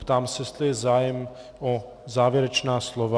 Ptám se, jestli je zájem o závěrečná slova.